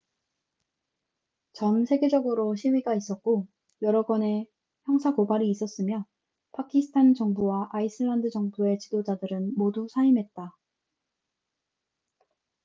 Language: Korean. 전 세계적으로 시위가 있었고 여러 건의 형사 고발이 있었으며 파키스탄 정부와 아이슬란드 정부의 지도자들은 모두 사임했다